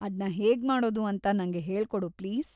ಅದ್ನ ಹೇಗ್ಮಾಡೋದು ಅಂತ ನಂಗೆ ಹೇಳ್ಕೊಡು ಪ್ಲೀಸ್.